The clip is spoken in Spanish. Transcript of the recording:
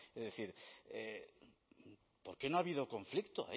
es decir por qué no ha habido conflicto